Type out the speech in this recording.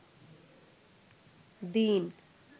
দিন